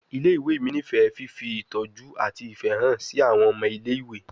Ile-iwe mi nifẹ fifi itọju ati ifẹ han si awọn ọmọ ile-iwe